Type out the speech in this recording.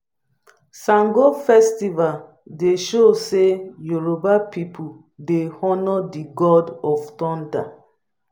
sango festival dey show sey yoruba pipu dey honour di god of thunder.